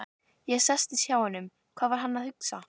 Ég settist hjá honum, sá hvað hann var að hugsa.